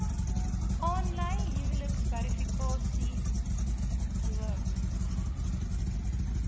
aanlyn huwelikverifikasiediens ingestel